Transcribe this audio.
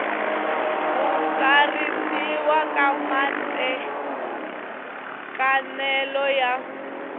ku tsarisiwa ka matekanelo ya